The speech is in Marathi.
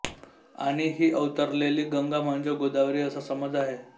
आणि ही अवतरलेली गंगा म्हणजेच गोदावरी असा समज आहे